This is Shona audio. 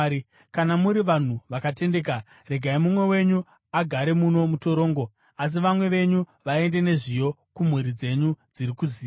Kana muri vanhu vakatendeka, regai mumwe wenyu agare muno mutorongo, asi vamwe venyu vaende nezviyo kumhuri dzenyu dziri kuziya.